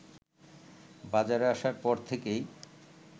বাজারে আসার পর থেকেই